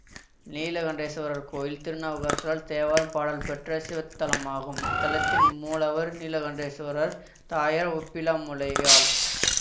நீலகண்டேஸ்வரர் கோயில் திருநாவுக்கரசரால் தேவாரம் பாடல் பெற்ற சிவத்தலமாகும் இத்தலத்தின் மூலவர் நீலகண்டேசுவரர் தாயார் ஒப்பிலாமுலையாள்